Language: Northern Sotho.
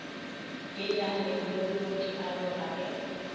ye ya lebollo dialoga ge